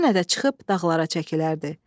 Yenə də çıxıb dağlara çəkilərdi.